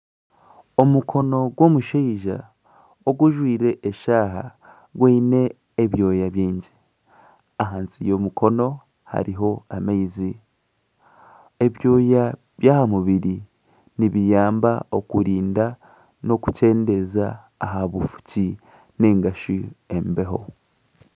Omukono gw'omushaija ogujwaire eshaaha gwine ebyoya bingi. Ahansi y'omukono hariyo amaizi. Ebyoya by'aha mubiri nibiyamba kurinda n'okukyendeeza aha bufuki nainga shi embeho.